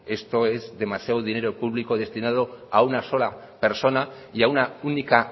que esto es demasiado dinero público destinado a una sola persona y a una única